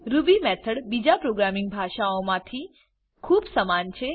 Ruby method બીજા programming ભાષાઓમાં થી ખુબ સમાન છે